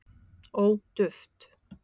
ó duft